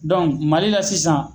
Mali la sisan.